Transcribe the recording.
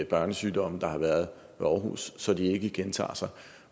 børnesygdomme der har været i aarhus så de ikke gentager sig